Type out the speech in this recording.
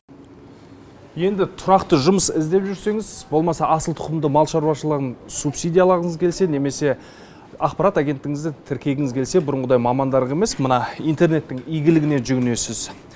енді тұрақты жұмыс іздеп жүрсеңіз болмаса асыл тұқымды мал шаруашылығын субсидиялағыңыз келсе немесе ақпарат агенттігіңізді тіркегіңіз келсе бұрынғыдай мамандарға емес мына интернеттің игілігіне жүгінесіз